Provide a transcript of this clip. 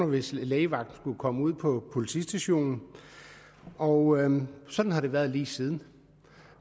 hvis lægevagten skulle komme ud på politistationen og sådan har det været lige siden